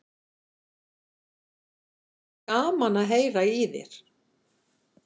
En gaman að heyra í þér.